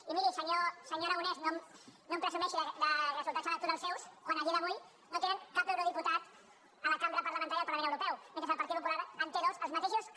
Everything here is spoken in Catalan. i miri senyor aragonès no em presumeixi de resultats electorals seus quan a dia d’avui no tenen cap euro·diputat a la cambra parlamentària del parlament eu·ropeu mentre que el partit popular en té dos els ma·teixos que